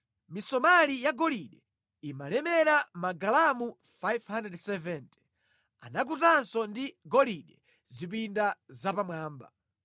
Misomali yagolide imalemera magalamu 570. Anakutanso ndi golide zipinda zapamwamba.